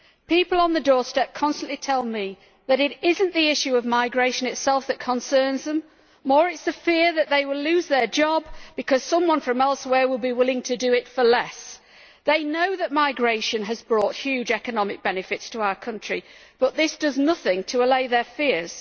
People on the doorstep constantly tell me that it is not the issue of migration itself that concerns them it is more the fear that they will lose their job because someone from elsewhere will be willing to do it for less. They know that migration has brought huge economic benefits to our country, but this does nothing to allay their fears.